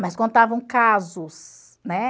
Mas contavam casos, né?